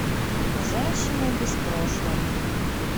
женщина без прошлого